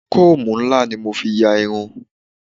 Kóòmù ńlá ni mo fi ya irun.